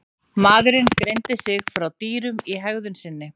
Maðurinn greindi sig frá dýrum í hegðun sinni.